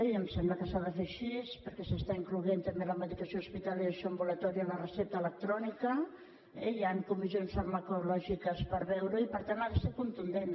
i em sembla que s’ha de fer així perquè s’està incloent també la medicació hospitalària de dispensació ambulatòria en la recepta electrònica eh i hi han comis sions farmacològiques per veure ho i per tant ha de ser contundent